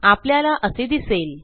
आपल्याला असे दिसेल